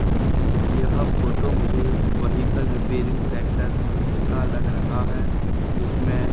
यह फोटो मुझे vehicle repairing centre का लग रहा है जिसमें--